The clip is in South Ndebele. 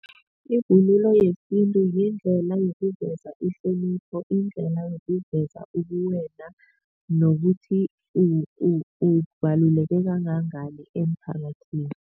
Ivunulo yesintu yindlela yokuveza ihlonipho indlela yokuveza ubuwena nokuthi ubaluleke kangangani emphakathini.